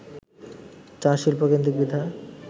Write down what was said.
চা-শিল্পকেন্দ্রিক বিধায়